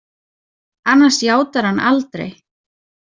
Annars játar hann aldrei.